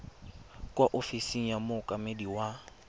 kwa ofising ya mookamedi wa